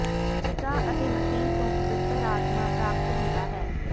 ਪਿਤਾ ਅਤੇ ਮਸੀਹ ਤੋਂ ਪਵਿੱਤਰ ਆਤਮਾ ਪ੍ਰਾਪਤ ਹੁੰਦਾ ਹੈ